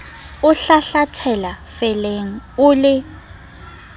o hlahlathela felleng o le